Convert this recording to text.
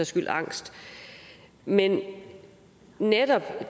skyld angst men netop